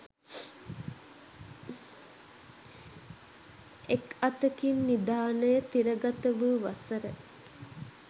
එක් අතකින් නිධානය තිරගත වූ වසර